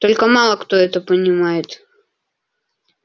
только мало кто это понимает